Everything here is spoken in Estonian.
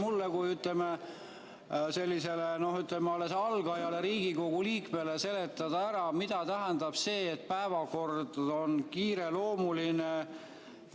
Aga äkki te oskate mulle kui alles algajale Riigikogu liikmele seletada ära, mida tähendab see, et päevakord on kiireloomuline?